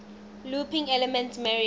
looping elements mario